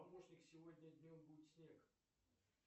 помощник сегодня днем будет снег